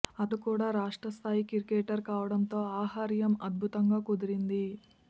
అతడు కూడా రాష్ట్ర స్థాయి క్రికెటర్ కావడంతో ఆహార్యం అద్భుతంగా కుదిరింది